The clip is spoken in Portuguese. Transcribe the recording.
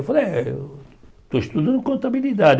Eu falei, eh estou estudando contabilidade.